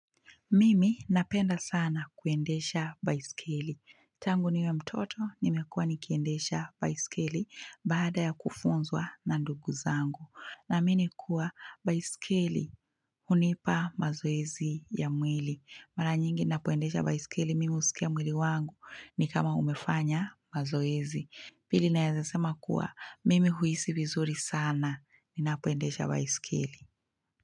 Mimi napenda sana kuendesha baisikeli. Tangu niwe mtoto, nimekuwa nikiendesha baisikeli baada ya kufunzwa na ndugu zangu. Naamini kuwa baisikeli hunipa mazoezi ya mwili. Mara nyingi napoendesha baisikeli, mimi husikia mwili wangu ni kama umefanya mazoezi. Pili naezasema kuwa, mimi huhisi vizuri sana, ninapoendesha baisikeli.